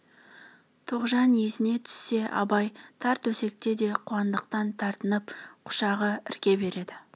тоғжан есіне түссе абай тар төсекте де қуандықтан тартынып құшағын ірке береді